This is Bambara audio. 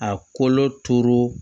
A kolo turu